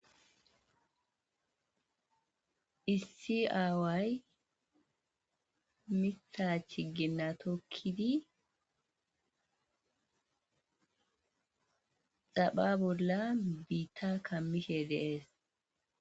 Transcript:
issi aaway mitha chiginna tokkidi xapha bolla biitta kammishe dee'es